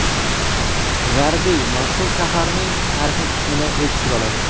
G‘arbiy Mosul shaharning tarixiy qismini o‘z ichiga oladi.